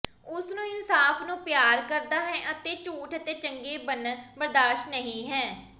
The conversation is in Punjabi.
ਉਸ ਨੂੰ ਇਨਸਾਫ਼ ਨੂੰ ਪਿਆਰ ਕਰਦਾ ਹੈ ਅਤੇ ਝੂਠ ਅਤੇ ਚੰਗੇ ਬਨਣ ਬਰਦਾਸ਼ਤ ਨਹੀ ਹੈ